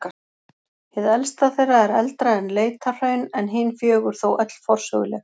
Hið elsta þeirra er eldra en Leitahraun en hin fjögur þó öll forsöguleg.